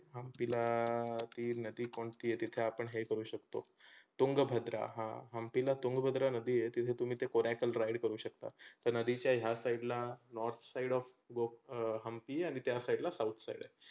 हंम्पीला ती नदी कोणती तीथे आपण हे करू शकतो. तुंगभद्रा हा हंम्पीला तुंगभद्रा नदी आहे तुम्ही तीथे तुम्ही ते ponacle ride करू शकता. त्या नदीच्या ह्या side ला north side of go um Hampi आणि त्या side ला south side आहे.